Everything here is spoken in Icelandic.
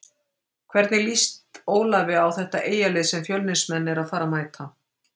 Hvernig lýst Ólafi á þetta Eyjalið sem Fjölnismenn eru að fara að mæta?